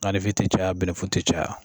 Gannifin tI caya bɛnɛfu ti caya